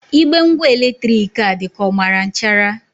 Igbe ngwa eletrik a dị ka ọ mara nchara.